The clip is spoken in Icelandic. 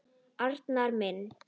Arnar minn.